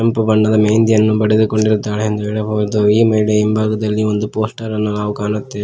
ಕೆಂಪು ಬಣ್ಣದ ಮೆಹಂದಿಯನ್ನು ಬಡೆದುಕೊಂಡಿರುತ್ತಾಳೆ ಎಂದು ಹೇಳಬಹುದು ಈ ಮಹಿಳೆಯ ಹಿಂಭಾಗದಲ್ಲಿ ಒಂದು ಪೋಸ್ಟರ್ ಅನ್ನು ನಾವು ಕಾಣುತ್ತೇವೆ.